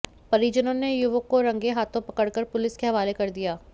परिजनों ने युवक को रंगे हाथों पकड़ कर पुलिस के हवाले कर दिया